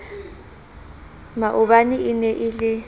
maobane e ne e le